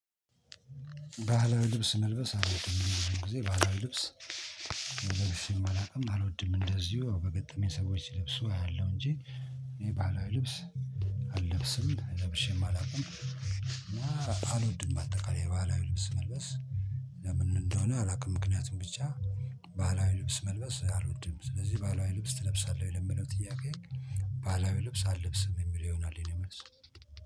ባህላዊ ልብስ መልበስ አልወድም እኔ ብዙ ጊዜ ባለ ልብስ ልብሸም አላውቅም አልወድም እንደዚሁ በገጠመኝ ሰዎች ሲለብሱ አያለሁ እንጂ እኔ ባህላዊ ልብስ አለብስም ለብሼም አላውቅም። እና አልወድም አጠቃላይ ባህል ልብስ መልበስ። ለምን እንደሆነ አላውቅም። ምክንያቱም ብቻ ባህላዊ ልብስ መልበስ አልወድም። ስለዚህ ባህላዊ ልብስ ትለብሳለህ ወይ ለሚለው ጥያቄ? ባህላዊ ልብስ አለብስም የሚለው ይሆናል። የኔ መልስ